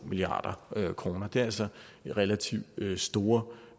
milliard kroner det er altså relativt store